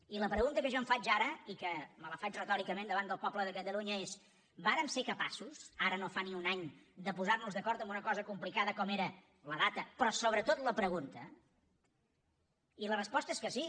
i la pregunta que jo em faig ara i que me la faig retòricament davant del poble de catalunya és vàrem ser capaços ara no fa ni un any de posar nos d’acord en una cosa complicada com era la data però sobretot la pregunta i la resposta és que sí